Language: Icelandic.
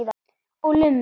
Og lummur.